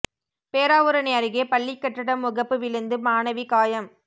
பேராவூரணி அருகே பள்ளிக் கட்டட முகப்பு விழுந்து மாணவி காயம்